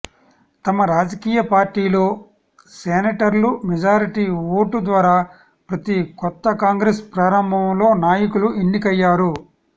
తమ రాజకీయ పార్టీలో సెనేటర్లు మెజారిటీ ఓటు ద్వారా ప్రతి కొత్త కాంగ్రెస్ ప్రారంభంలో నాయకులు ఎన్నికయ్యారు